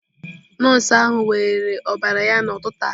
Nọọsụ ahụ weere ọbara ya n'ụtụtụ a.